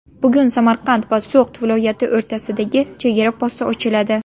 Bugun Samarqand va So‘g‘d viloyati o‘rtasidagi chegara posti ochiladi.